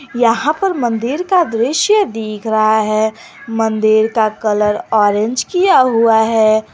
यहां पर मंदिर का दृश्य दिख रहा है मंदिर का कलर ऑरेंज किया हुआ है।